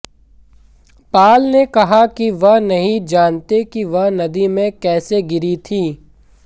Paul ने कहा कि वह नहीं जानते कि वह नदी में कैसे गिरी थी